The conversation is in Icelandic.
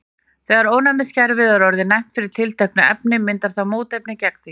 þegar ónæmiskerfið er orðið næmt fyrir tilteknu efni myndar það mótefni gegn því